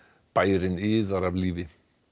bærinn iðar af lífi